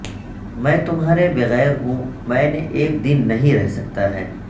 میں تمہارے بغیر ہوں میں نے ایک دن نہیں رہ سکتا ہے